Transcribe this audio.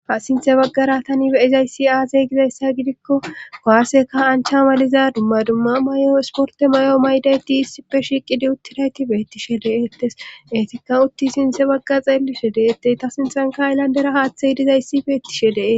ha sinthe baggara tani beizayssi aazey gizayssa gidikko gaasseka ancha maliza dumma dumma may7o isporte may7o maydayti issippe shiiqidi uttirayti beettishe de7ettes eetikka utti sinthe bagga xeellishe deettey ta sinthanka ayllandera haaththey dizayssi beettishe dee